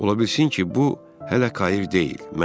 Ola bilsin ki, bu hələ kair deyil,